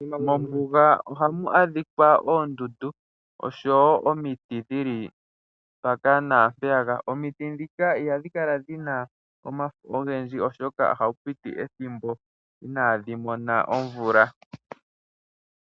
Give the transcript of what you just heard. Mombuga ohamu adhikwa oondundu osho wo omiti dhili mpaka naampeyaka. Omiti ndhika ihadhi kala dhina omafo ogendji oshoka ohapu piti ethimbo inaadhi mona omvula.